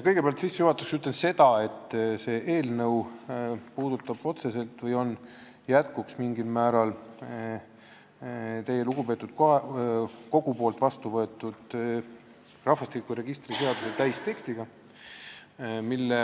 Kõigepealt ütlen sissejuhatuseks seda, et see eelnõu on mingil määral jätkuks teie, lugupeetud kogu, vastuvõetud rahvastikuregistri seaduse täistekstile, mille